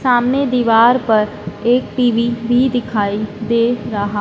सामने दीवार पर एक टी_वी भी दिखाई दे रहा--